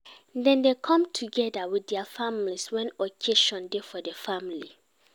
Dem dey come together with their families when occasion dey for the family